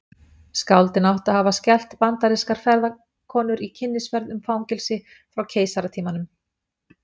Skáldin áttu að hafa skelft bandarískar ferðakonur í kynnisferð um fangelsi frá keisaratímanum.